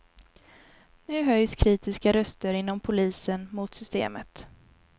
Nu höjs kritiska röster inom polisen mot systemet.